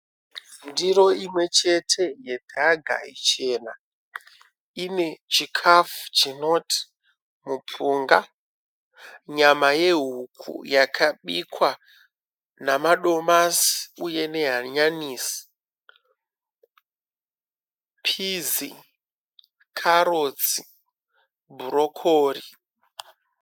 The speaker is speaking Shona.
Ndiro imwe chete yedhaga ichena, ine chikafu chinoti mupunga, nyama yehuku yakabikwa, namadomasi uye nehanyanisi, pizi, karotsi, bhurokori.